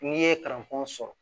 N'i ye kalanfɔn sɔrɔ